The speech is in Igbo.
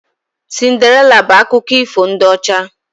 Cinderịla bụ akụkọ ifo ndị ọcha